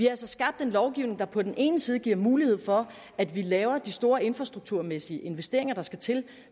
altså skabt en lovgivning der på den ene side giver mulighed for at vi laver de store infrastrukturmæssige investeringer der skal til